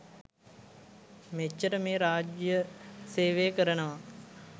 මෙච්චර මේ රාජ්‍ය සේවය කරනවා